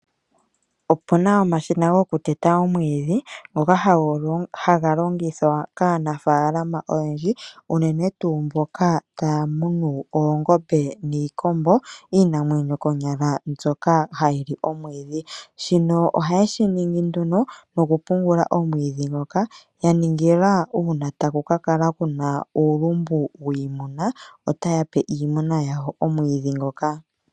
Opuna omashina go ku tetanus omwiidhi, ngoka ha ga longithwa, kaanafaalama oyendji, unene tuu mboka ta ya munu oongombe niikombo, iinamwenyo konyala mvyoka ha yi li omwiidhi. Shino oha ye shi ningi nduno, no ku pyngula omwiidhi ngoka, ya ningila uuna ta ku ka jaka Kuna yulumbu wiimuna, ota ya pe iimuna yawo o.wiidhi ngoka.